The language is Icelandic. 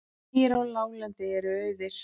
Vegir á láglendi eru auðir